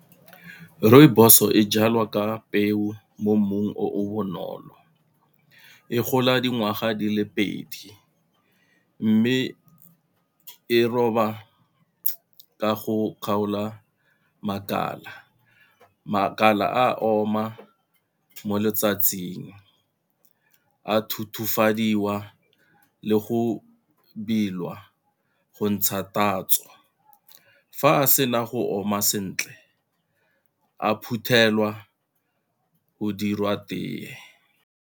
Rooibos e jalwa ka peo mo mmung o o bonolo, e gola dingwaga di le pedi mme e roba ka go kgaola makala. Makala a oma mo letsatsing, a le go go ntsha tatso, fa a sena go oma sentle a phuthelwa go dirwa tee.